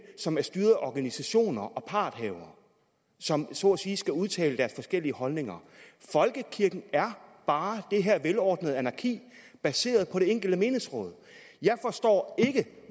som er styret af organisationer og parthavere som så at sige skal udtale deres forskellige holdninger folkekirken er bare det her velordnede anarki baseret på det enkelte menighedsråd jeg forstår ikke